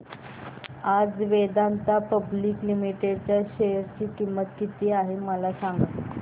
आज Vedanta public limited च्या share ची किंमत किती आहे मला सांगा